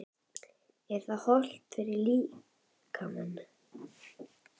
Er það hollt fyrir, fyrir líkamann?